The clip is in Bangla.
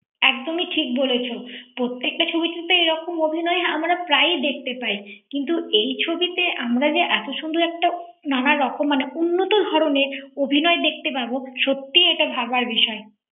একদমই ঠিক বলেছ প্রত্যেকটা ছবিতে এরকম অভিনয় আমরা প্রায় ই দেখতে পাই কিন্তু এই ছবিতে আমরা যে এত সুন্দর একটা নানা রকম উন্নত ধরনের অভিনয় দেখতে পাবো সত্যিই এটা ভাবার বিষয় ৷